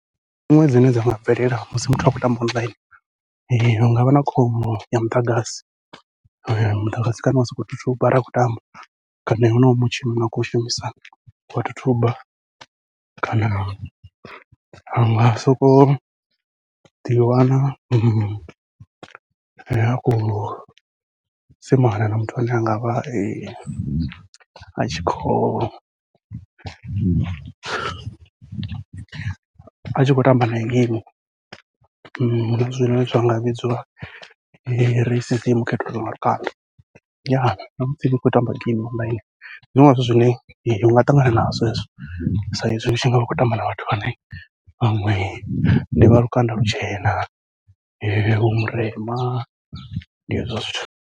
Dziṅwe dzine dza nga bvelela musi muthu atshi khou tamba online, hu ngavha na khombo ya muḓagasi muḓagasi kana wa sokou thuthuba ri khou tamba kana honoyo mutshini une wa khou shumisa wa thuthuba, kana anga sokou ḓiwana a khou semana na muthu ane a ngavha tshikhou atshi khou tamba nae geimi. Zwine zwa nga vhidzwa racism khethululo nga lukanda, namusi ni tshi khou tamba geimi online ndi zwiṅwe zwithu zwine unga ṱangana nazwo hezwo saizwi utshi ngavha utshi khou tamba na vhathu vhane vhaṅwe ndi vha lukanda lutshena, iwe u murema ndi hezwo zwithu.